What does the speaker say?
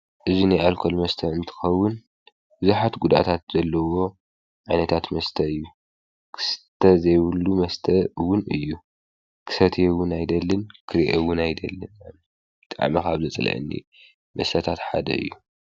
እዙይ ነይኣልኮል መስተ እንትኸውን ብዙኃት ጕዳእታት ዘለዎ ዒነታት መስተ እዩ ክስተ ዘይብሉ መስተውን እዩ ክሰትየውን ኣይደልን ክርእየውን ኣይደልን ጠዕሚኻኣብ ዘፀለአኒ መሰታት ሓደ እዩ ።